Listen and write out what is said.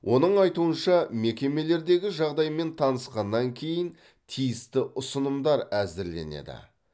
оның айтуынша мекемелердегі жағдаймен танысқаннан кейін тиісті ұсынымдар әзірленеді